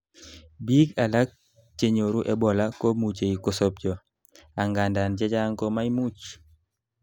biik alak chenyoru Ebola komuchei kosobcho, angandan chechang komaimuch